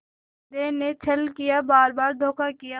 हृदय ने छल किया बारबार धोखा दिया